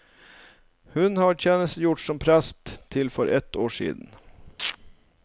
Hun har tjenestegjort som prest til for ett år siden.